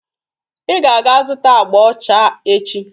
Ị ga-aga zụta agba ọcha echi!